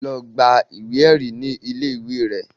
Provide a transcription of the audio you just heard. Lọ gba ìwé ẹ̀rí ní ilé ìwé rẹ